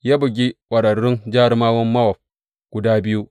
Ya bugi ƙwararrun jarumawan Mowab guda biyu.